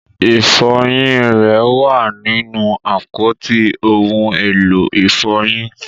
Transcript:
Ifọyin rẹ wà ninu apọti ohun elo ifọyin.